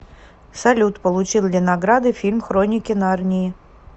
салют получил ли награды фильм хроники нарнии